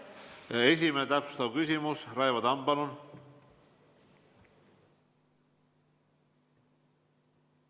Täpsustav küsimus, Raivo Tamm, palun!